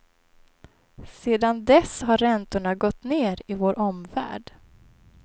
Sedan dess har räntorna gått ner i vår omvärld.